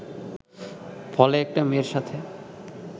ফলে একটা মেয়ের সাথে